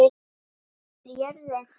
Hvað er jörðin þung?